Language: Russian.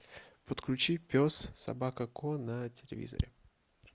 подключи пес собака ко на телевизоре